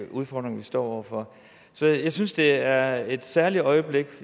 udfordringer vi står over for så jeg synes det er et særligt øjeblik